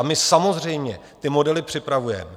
A my samozřejmě ty modely připravujeme.